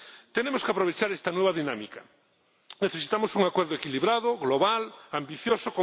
Tenemos que aprovechar esta nueva dinámica necesitamos un acuerdo equilibrado, global, ambicioso